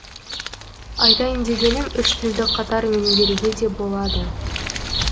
айтайын дегенім үш тілді қатар меңгеруге де болады